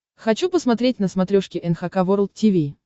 хочу посмотреть на смотрешке эн эйч кей волд ти ви